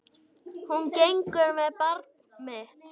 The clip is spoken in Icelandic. Hún gengur með barn mitt.